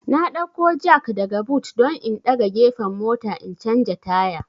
N dauko jak daga but don in daga gefen mota in canja taya